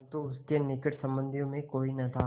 परन्तु उसके निकट संबंधियों में कोई न था